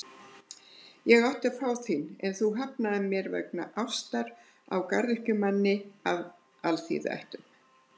Ég átti að fá þín, en þú hafnaðir mér vegna ástar á garðyrkjumanni af alþýðuættum.